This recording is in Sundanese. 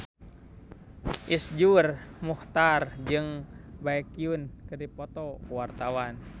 Iszur Muchtar jeung Baekhyun keur dipoto ku wartawan